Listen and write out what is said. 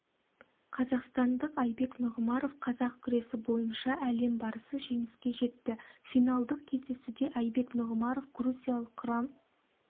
қазақстандық айбек нұғымаров қазақ күресі бойынша әлем барысы жеңіске жетті финалдық кездесуде айбек нұғымаров грузиялық гурам